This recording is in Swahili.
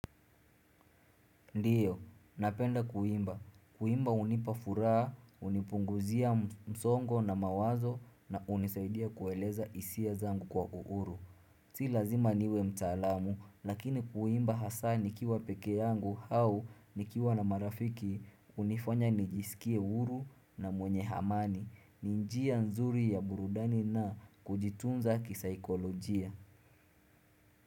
Ndiyo, napenda kuimba. Kuimba hunipafuraha, hunipunguzia msongo na mawazo na hunisaidia kueleza hisia zangu kwa uhuru. Si lazima niwe mtaalamu, lakini kuimba hasa nikiwa peke yangu hau nikiwa na marafiki unifanya nijisikie uhuru na mwenye amani. Ni njia nzuri ya burudani na kujitunza kisaikolojia.